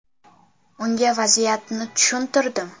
Unga vaziyatni tushuntirdim.